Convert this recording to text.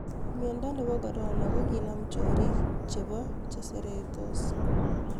Miondo nebo Corona:koginam chorik chebo maskinik